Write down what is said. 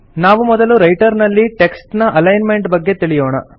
ನಾವು ಮೊದಲು ರೈಟರ್ ನಲ್ಲಿ ಟೆಕ್ಸ್ಟ್ ನ ಅಲೈನ್ಮೆಂಟ್ ನ ಬಗ್ಗೆ ತಿಳಿಯೋಣ